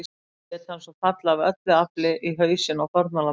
Lét hann svo falla AF ÖLLU AFLI í hausinn á fórnarlambinu.